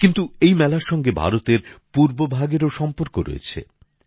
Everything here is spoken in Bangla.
কিন্তু এই মেলার সঙ্গে ভারতের পূর্বভাগেরও সম্পর্ক রয়েছে